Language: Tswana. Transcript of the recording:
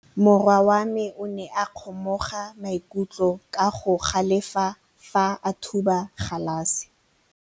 Morwa wa me o ne a kgomoga maikutlo ka go galefa fa a thuba galase.